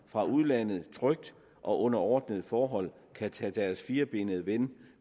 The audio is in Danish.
fra udlandet trygt og under ordnede forhold kan tage deres firbenede ven